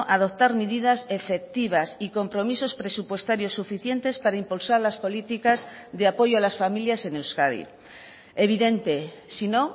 adoptar medidas efectivas y compromisos presupuestarios suficientes para impulsar las políticas de apoyo a las familias en euskadi evidente sino